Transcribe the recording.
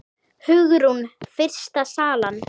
Hugrún: Fyrsta salan?